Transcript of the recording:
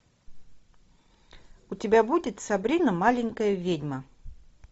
у тебя будет сабрина маленькая ведьма